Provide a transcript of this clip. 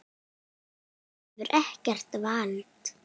Hann hefur ekkert vald.